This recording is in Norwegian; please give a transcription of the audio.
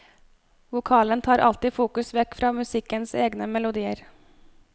Vokalen tar alltid fokus vekk fra musikkens egne melodier.